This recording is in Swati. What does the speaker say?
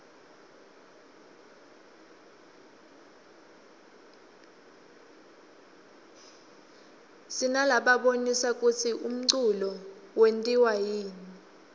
sinalabonisa kutsi umculo wentiwaryani